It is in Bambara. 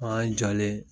An y'an jɔlen